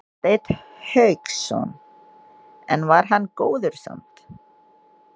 Hafsteinn Hauksson: En var hann góður samt?